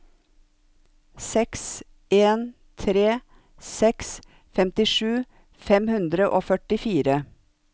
seks en tre seks femtisju fem hundre og førtifire